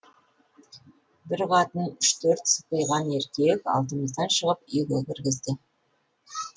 бір катын үш төрт сыпиған еркек алдымыздан шығып үйге кіргізді